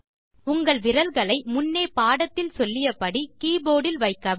உங்கள் விரல்களை முன்னே பாடத்தில் சொல்லிய படி கீபோர்ட் இல் வைக்கவும்